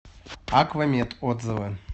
аква мед отзывы